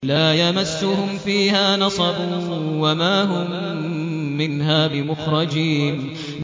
لَا يَمَسُّهُمْ فِيهَا نَصَبٌ وَمَا هُم مِّنْهَا بِمُخْرَجِينَ